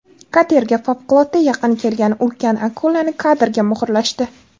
Katerga favqulodda yaqin kelgan ulkan akulani kadrga muhrlashdi .